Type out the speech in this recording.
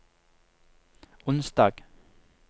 onsdag